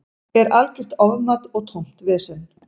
Er algjört ofmat og tómt vesen.